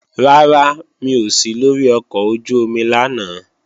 Rárá, mi ò sí lóri ọkọ̀ ojú-omi lánàá